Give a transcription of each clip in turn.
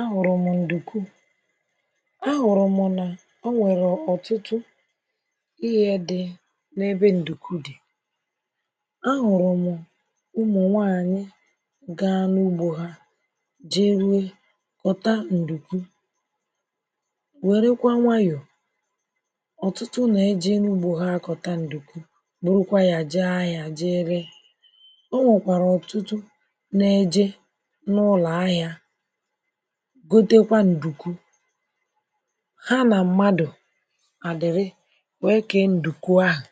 A hụ̀rụ̀ m̀ ǹdùkwu a hụ̀rụ̀ m̀ nà onwèrè ọ̀tụtụ ihe dị ebe ǹdùkwu dị̀ a hụ̀rụ̀ m̀ ụmụ̀nwaanyị̀ gaa nà ugbō hā jeruè nwụ̀ta ǹdùkwu wèrekwa nwayọ̀ ọ̀tụtụ nà-èje n’ugbō ha àkọ̀ta ǹdùkwu burukwa ya jee ahịā je ree o nwèkwàrà ọ̀tụtụ na-eje n’ụlọ̀ ahịā gotekwa ǹdùkwu ha nà mmadụ̀ à dị̀rị wee kee ǹdùkwu ahụ̀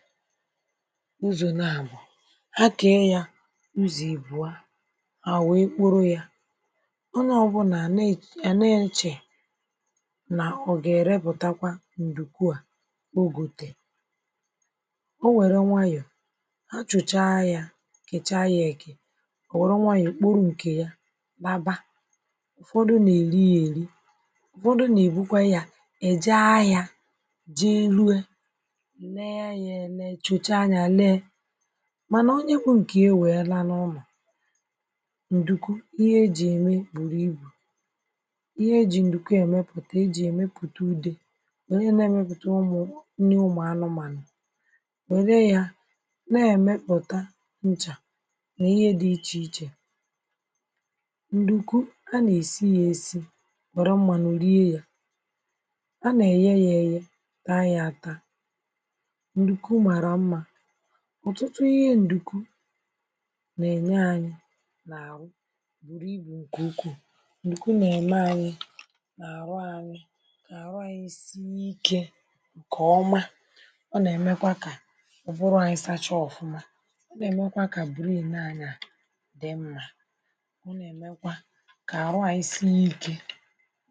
ụzọ̀ n’àbọ̀ ha kee ya ụzọ̀ ị̀bụ̀a hà wèe kporo ya onye ọ̀ bụ̀là a nà-èche nà ọ̀ gà-èrepụ̀ta ǹdùkwu a o gòtèè o wère nwayọ̀ ha chụ̀chaa ya kèchaa ya èkè ò wèru nwayọ̀ kporu ǹkè ya laba ụ̀fọdụ nà-èli ya èri ụ̀fọdụ nà-èbukwa ya èje ahịā jee ree lee ya ele tụ̀chaa ya lee mànà onye bu ǹkìe wèe laa n’ụlọ̀ ǹdùkwu ihe ejìe ème bùrù ibù ihe e jì ǹdùkwu èmepùte ejìe èmepùte ùde ẁerie nà-èmepùte ụmụ̀ nri ụmụ̀anụmànụ̀ wère ya na-èmepụ̀ta nchā nà ihe dị̀ ichèichè ǹdùkwu a nà-èsi ya èsi wère mmanụ rie ya a nà-èye ya èye taa ya ata ǹdùkwu màrà mmā ọ̀tụtụ ihe ǹdùkwu nà-ènye anyị̄ n’àhụ bùrù ibù ǹkè ukwuu ǹdùkwu nà-ème ànyi nà àhụ ànyị nà àhụ ànyị sìe ike ǹkèọma ọ nà-èmekwa kà ụ̀bụrụ̀ ànyị sachaa ọ̀fụma ọ nà-èmekwa kà bìrenì anyị̄ a di mmā ọ nà-èmekwa kà àrụ ànyị sie ike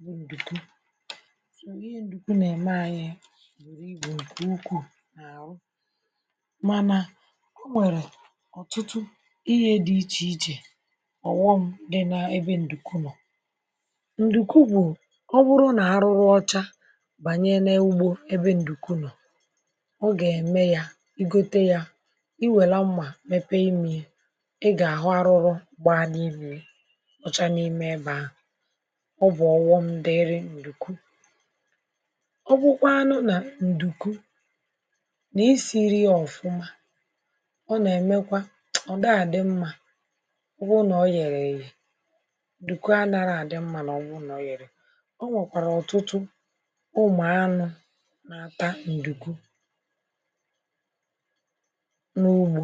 mbụ̄ ǹdùkwu ihe ǹdùkwu nà-ème ànyị bùrù ǹkè ukwuu n’àrụ mànà o nwèrè ọ̀tụtụ ihe dì ichèichè ọ̀ghọm nà-ème ebe ǹdùkwu nọ̀ ǹdùkwu bụ̀ ọ bụrụ nà arụrụ ọcha bànye n’ugbō ebe ǹdùkwu nọ̀ ọ gà-ème ya i gote ya ì wère mmà mepee imiē i gà-àhụ arụrụ gbaa n’imiē nọcha n’ime ebe ahụ̀ ọ bụ̀ ọ̀ghọm̄ dịịrị ǹdùkwu ọ bụkwaanụ nà ǹdùkwu nà-esīriē ọ̀fụma ọ nà-èmekwa ọ̀ dịa à dị mmā ọ wụrụ nà ò yerè èyè ǹdùkwu ànaghị̀ à dị mmā màọbụrụ nà ò yerè èyè o nwèkwàrà ọ̀tụtụ ụmụ̀anụ̄ na-ata ǹdùkwu n’ugbō